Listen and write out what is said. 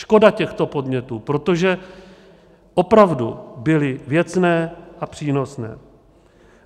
Škoda těchto podnětů, protože opravdu byly věcné a přínosné.